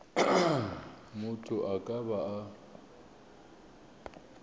motho a ka ba a